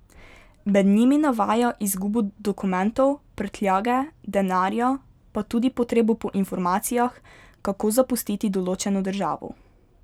Med njimi navaja izgubo dokumentov, prtljage, denarja, pa tudi potrebo po informacijah, kako zapustiti določeno državo.